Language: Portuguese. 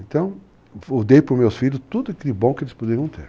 Então, eu dei para os meus filhos tudo de bom que eles poderiam ter.